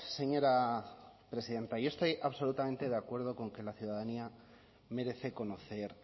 señora presidenta yo estoy absolutamente de acuerdo con que la ciudadanía merece conocer